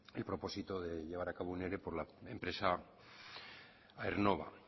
el propósito de llevar a cabo un ere por la empresa aernnova